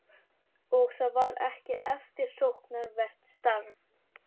Og það var ekki eftirsóknarvert starf.